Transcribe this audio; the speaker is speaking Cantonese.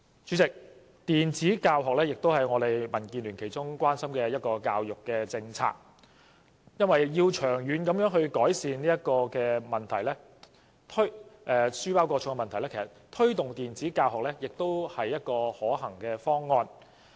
主席，電子教學也是民建聯關心的一項教育政策，因為要長遠改善書包過重的問題，推動電子教學無疑是一個可行方案。